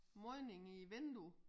Modning i æ vindue